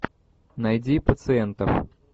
найди пациентов